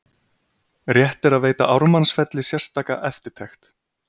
Rétt er að veita Ármannsfelli sérstaka eftirtekt.